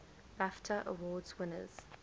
bafta award winners